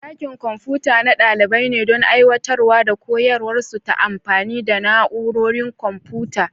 Dakin Kwamfuta na dalibai ne don aiwatar da koyarwarsu ta amfani da na'urorin kwamfuta.